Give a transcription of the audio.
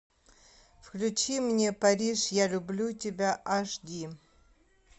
включи мне париж я люблю тебя аш ди